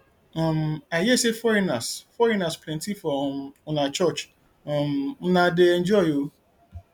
um i hear say foreigners foreigners plenty for um una church una um dey enjoy oo